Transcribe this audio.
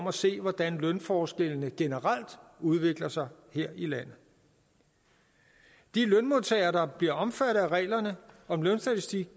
at se hvordan lønforskellene generelt udvikler sig her i landet de lønmodtagere der bliver omfattet af reglerne om lønstatistik